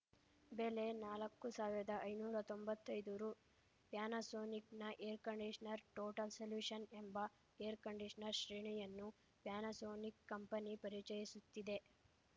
ಬೆಲೆ ನಾಲಕ್ಕು ಸಾವಿರ್ದಾ ಐನೂರಾ ತೊಂಬತ್ತೈದು ರು ಪ್ಯಾನಸೋನಿಕ್‌ನ ಏರ್‌ ಕಂಡಿಶನರ್‌ ಟೋಟಲ್‌ ಸೊಲ್ಯೂಶನ್‌ ಎಂಬ ಏರ್‌ಕಂಡಿಶನರ್‌ ಶ್ರೇಣಿಯನ್ನು ಪ್ಯಾನಸೋನಿಕ್‌ ಕಂಪೆನಿ ಪರಿಚಯಿಸುತ್ತಿದೆ